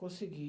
Consegui.